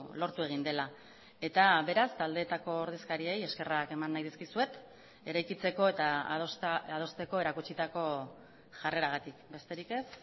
lortu egin dela eta beraz taldeetako ordezkariei eskerrak eman nahi dizkizuet eraikitzeko eta adosteko erakutsitako jarreragatik besterik ez